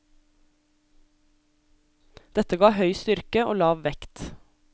Dette ga høy styrke og lav vekt.